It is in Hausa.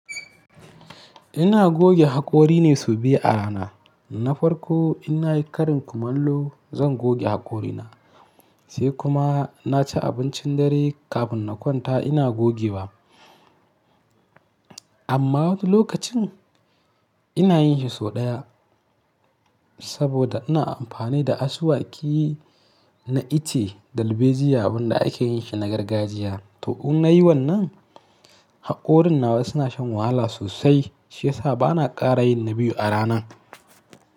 Ina goge haƙori ne sau biyu a rana. Na farko in nayi ƙarin kumallo zan goge haƙorina, sai kuma na ci abincin dare kafin na kwanta ina gogewa. Amma wani lokacin ina yin shi sau ɗaya saboda ina amfani da asuwaki na iche dalbejia abunda ake yin shi na gargajiya. To inna yi wannan, haƙorin nawa suna shan wahala sosai shi ya sa ba na ƙara yin na biyu a rana.